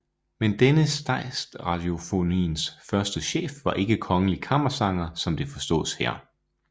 Men denne Statsradiofoniens første chef var ikke kongelig kammersanger som det forstås her